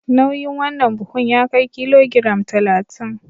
Nauyin wannan buhun ya kai kilogiram talatin.